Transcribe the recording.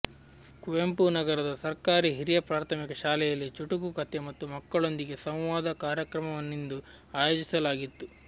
ಕುವೆಂಪುನಗರದ ಸರ್ಕಾರಿ ಹಿರಿಯ ಪ್ರಾಥಮಿಕ ಶಾಲೆಯಲ್ಲಿ ಚುಟುಕು ಕಥೆ ಮತ್ತು ಮಕ್ಕಳೊಂದಿಗೆ ಸಂವಾದ ಕಾರ್ಯಕ್ರಮವನ್ನಿಂದು ಆಯೋಜಿಸಲಾಗಿತ್ತು